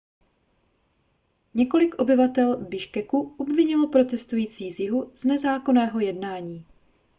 několik obyvatel biškeku obvinilo protestující z jihu z nezákonného jednání